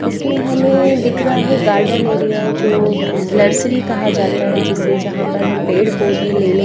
इसमें हमें दिख रहा हैगार्डन एरिया जो नर्सरी कहा जाता है जिसे जहां पर हम पेड़ पौधे लेने --